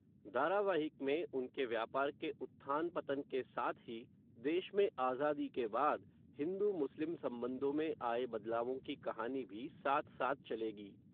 धारावाहिक में, उनके व्यापार के, उत्थान पतन के साथ ही, देश में आज़ादी के बाद, हिंदू मुस्लिम संबंधों में आए बदलावों की कहानी भी, साथ साथ चलेगी